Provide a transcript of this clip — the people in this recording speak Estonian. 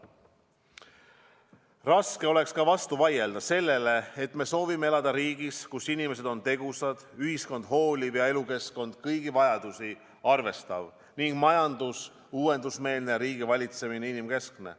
Raske oleks ka vastu vaielda sellele, et me soovime elada riigis, kus inimesed on tegusad, ühiskond hooliv ja elukeskkond kõigi vajadusi arvestav ning majandus uuendusmeelne ja riigivalitsemine inimkeskne.